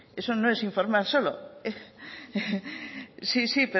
eso no es informar solo sí sí